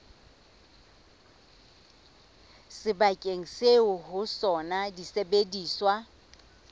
sebakeng seo ho sona disebediswa